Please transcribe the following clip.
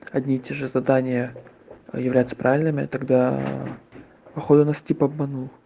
одни и те же задания являются правильными тогда походу нас тип обманул